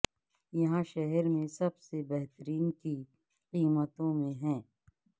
یہاں شہر میں سب سے بہترین کی قیمتوں میں ہیں